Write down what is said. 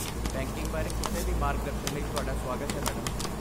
Banking ਬਾਰੇ ਕਿਸੇ ਵੀ ਮਾਰਗਦਰਸ਼ਨ ਲਈ ਤੁਹਾਡਾ ਸੁਆਗਤ ਹੈ, ਮੈਡਮ।